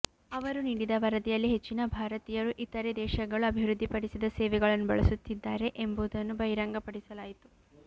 ಅವರು ನೀಡಿದ ವರದಿಯಲ್ಲಿ ಹೆಚ್ಚಿನ ಭಾರತೀಯರು ಇತರೆ ದೇಶಗಳು ಅಭಿವೃದ್ದಿಪಡಿಸಿದ ಸೇವೆಗಳನ್ನು ಬಳಸುತ್ತಿದ್ದಾರೆ ಎಂಬುದನ್ನು ಬಹಿರಂಗಪಡಿಸಲಾಯಿತು